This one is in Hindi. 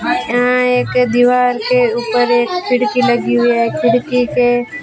अं एक दीवार के ऊपर एक खिड़की लगी हुई है खिड़की के--